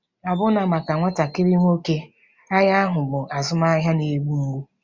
Ọbụna maka nwatakịrị nwoke, agha ahụ bụ azụmahịa na-egbu mgbu.